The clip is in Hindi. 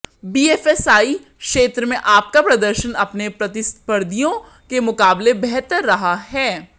बीएफएसआई क्षेत्र में आपका प्रदर्शन अपने प्रतिस्पर्धियों के मुकाबले बेहतर रहा है